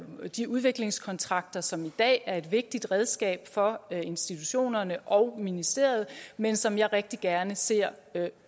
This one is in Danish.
de udviklingskontrakter som i dag er et vigtigt redskab for institutionerne og ministeriet men som jeg rigtig gerne ser i